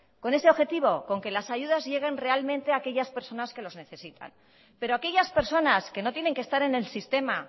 con ese objetivo con que las ayudas lleguen realmente aquellas personas que los necesitan pero aquellas personas que no tienen que estar en el sistema